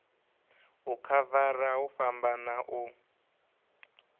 u khavara hu fhambana u